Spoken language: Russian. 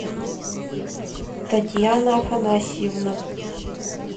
татьяна афанасьевна